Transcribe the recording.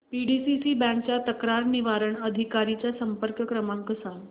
PDCC bank च्या तक्रार निवारण अधिकारी चा संपर्क क्रमांक सांग